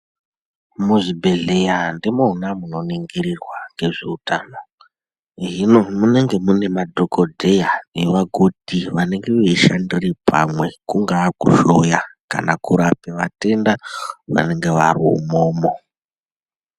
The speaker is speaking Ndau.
Muzvi bhedhleya ndimona ningirirwa ngezve utano hino munenge mune madhokoteya ne vakoti vanenge vei shandira pamweni kungava ku dhloya kana kurapa vatenda vanenge vari imwomwo.